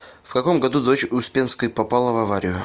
в каком году дочь успенской попала в аварию